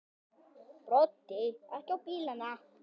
Broddi: Ekki á bílana?